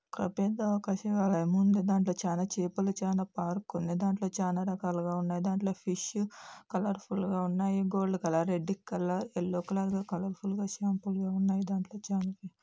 ఒక పెద్ద ఒక శివాలయం ఉంది. దాంట్లో చానా చేపలు చానా పార్క్ ఉంది. దాంట్లో చానా రకాలుగా ఉన్నాయి. దాంట్లో ఫిష్ కలర్ ఫుల్ గా ఉన్నాయి gold colour red colour yellow colour ల కలర్ ఫుల్ గా దాంట్లో చాన --